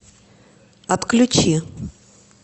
отключи